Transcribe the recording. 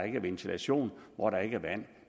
ikke er ventilation hvor der ikke er vand